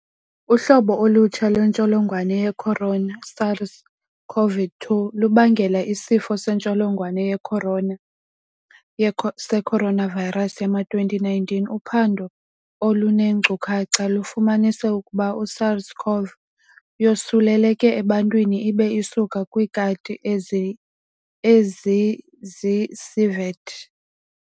Uhlobo olutsha lwentsholongwane yecorona, SARS-CoV-2, lubangela isifo sentsholongwane yeCorana, seCoronavirus, yama-2019. Uphando oluneenkcukacha lufumanise ukuba iSARS-CoV yosuleleke ebantwini ibe isuka kwiikati ezizii-civet.